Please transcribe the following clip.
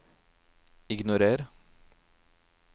ignorer